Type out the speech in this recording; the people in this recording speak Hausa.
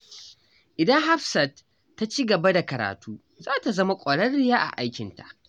Idan Hafsat ta ci gaba da karatu, za ta zama ƙwararriya a aikinta.